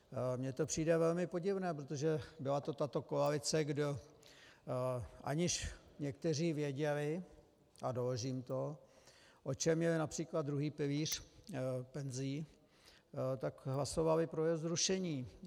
Mně to přijde velmi podivné, protože byla to tato koalice, kde aniž někteří věděli, a doložím to, o čem je například druhý pilíř penzí, tak hlasovali pro jeho zrušení.